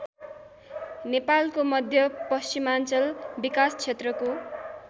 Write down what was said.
नेपालको मध्यपश्चिमाञ्चल विकासक्षेत्रको